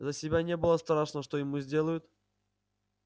за себя не было страшно что ему сделают